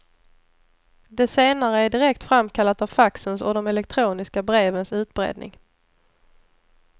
Det senare är direkt framkallat av faxens och de elektroniska brevens utbredning.